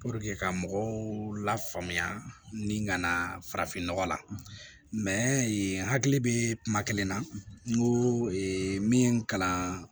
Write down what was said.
ka mɔgɔw lafaamuya ni ka na farafinnɔgɔ la n hakili bɛ kuma kelen na n ko min kalan